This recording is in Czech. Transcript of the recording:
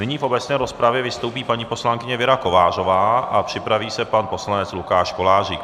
Nyní v obecné rozpravě vystoupí paní poslankyně Věra Kovářová a připraví se pan poslanec Lukáš Kolářík.